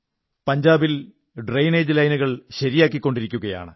പഞ്ചാബിൽ ഡ്രയിനേജ് ലൈനുകൾ നന്നാക്കിക്കൊണ്ടിരിക്കയാണ്